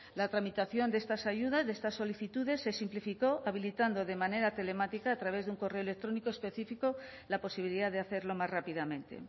la tramitación de estas ayudas de estas solicitudes se simplificó habilitando de manera telemática a través de un correo electrónico específico la posibilidad de hacerlo más rápidamente